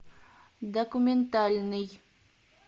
документальный